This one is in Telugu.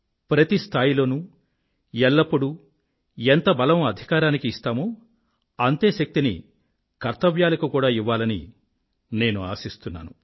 ప్రతి స్థాయిలోనూ ఎల్లప్పుడూ ఎంత బలం అధికారానికి ఇస్తామో అంతే శక్తిని కర్తవ్యాలకు కూడా ఇవ్వాలని నేను ఆశిస్తున్నాను